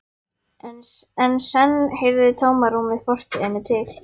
En senn heyrði tómarúmið fortíðinni til.